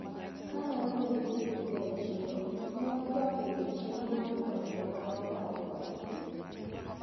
Kanaromo gi osiepega e chiro, newatwak ewi chenro mar konyo oganda wa kawariwore.